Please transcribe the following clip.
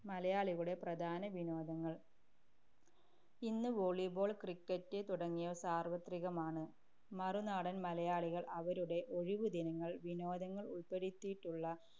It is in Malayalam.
മലയാളികളുടെ പ്രധാന വിനോദങ്ങൾ. ഇന്ന് volleyball, cricket തുടങ്ങിയവ സാർവത്രികമാണ്. മറുനാടൻ മലയാളികൾ അവരുടെ ഒഴിവു ദിനങ്ങൾ വിനോദങ്ങൾ ഉൾപ്പെടുത്തിയുള്ള